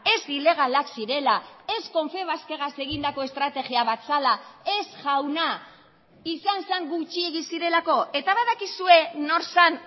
ez ilegalak zirela ez confebaskegaz egindako estrategia bat zela ez jauna izan zen gutxiegi zirelako eta badakizue nor zen